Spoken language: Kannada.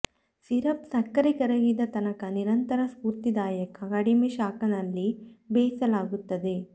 ಸಿರಪ್ ಸಕ್ಕರೆ ಕರಗಿದ ತನಕ ನಿರಂತರ ಸ್ಫೂರ್ತಿದಾಯಕ ಕಡಿಮೆ ಶಾಖ ನಲ್ಲಿ ಬೇಯಿಸಲಾಗುತ್ತದೆ